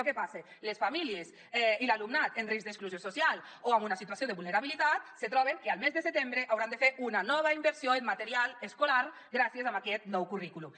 què passa les famílies i l’alumnat en risc d’exclusió social o en una situació de vulnerabilitat se troben que el mes de setembre hauran de fer una nova inversió en material escolar gràcies a aquest nou currículum